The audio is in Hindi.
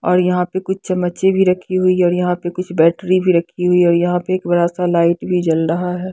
और यहां पे कुछ चम्मचे भी रखी हुई है और यहां पे कुछ बैटरी भी रखी हुई है और यहां पे एक बड़ा सा लाइट भी जल रहा है।